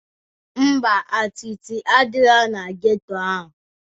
Ḿbà, atịtị adirọ na geto ahụ.